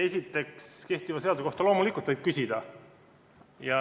Esiteks, kehtiva seaduse kohta võib loomulikult küsida.